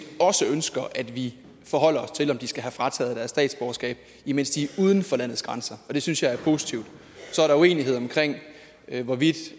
også ønsker at vi forholder os til om de skal have frataget deres statsborgerskab imens de er uden for landets grænser det synes jeg er positivt så er der uenighed omkring hvorvidt